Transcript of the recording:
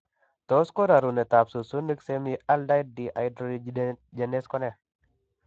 Tos ko Rarunetab succinic semialdehyde dehydrogenase ne